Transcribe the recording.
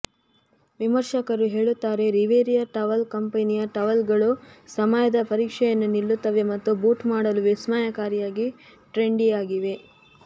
ವಿಮರ್ಶಕರು ಹೇಳುತ್ತಾರೆ Riviera towel ಕಂಪೆನಿಯ ಟವೆಲ್ಗಳು ಸಮಯದ ಪರೀಕ್ಷೆಯನ್ನು ನಿಲ್ಲುತ್ತವೆ ಮತ್ತು ಬೂಟ್ ಮಾಡಲು ವಿಸ್ಮಯಕಾರಿಯಾಗಿ ಟ್ರೆಂಡಿಯಾಗಿವೆ